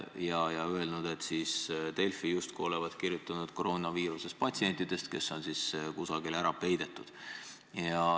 Te olete öelnud, et Delfi justkui on kirjutanud koroonaviirusest, patsientidest, kes on kusagile ära peidetud.